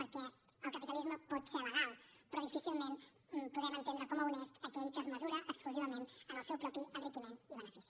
perquè el capitalisme pot ser legal però difícilment podem entendre com a honest aquell que es mesura exclusivament amb el seu propi enriquiment i benefici